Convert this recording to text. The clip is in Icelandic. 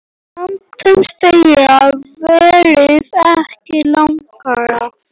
En samtal þeirra varð ekki lengra.